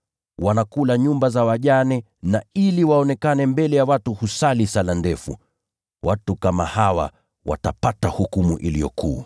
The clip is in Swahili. Wao hula nyumba za wajane, na ili waonekane kuwa wema, wanasali sala ndefu. Watu kama hawa watapata hukumu iliyo kuu sana.”